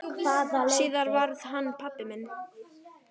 Síðar varð hann pabbi minn.